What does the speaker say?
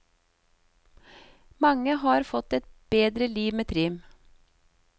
Mange har fått et bedre liv med trim.